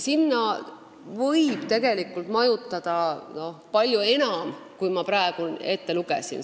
Sinna võib majutada palju enam andmekogusid, kui ma praegu ette lugesin.